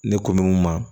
Ne ko mɛ n ma